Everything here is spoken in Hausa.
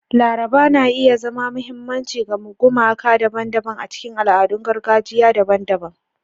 Laraba na iya zama mahimmanci ga gumaka daban-daban a cikin al'adun gargajiya daban-daban.